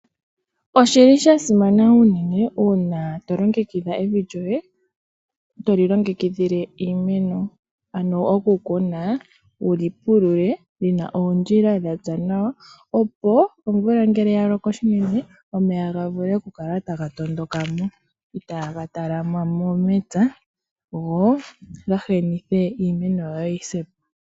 Oshili sha simana unene, uuna to longekidha evi lyoye, toli longekidhile iimeno. Ano oku kuna wuli pulule, ano puna oondjila dha tsa nawa, opo omvula ngele ya loko shinene, omeya ga vule oku kala taga tondoka mo, itaaga talama mo mepya, go gahenithe iimeno, yo yi se po.